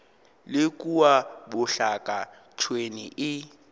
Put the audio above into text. le kua bjaka tšhwene e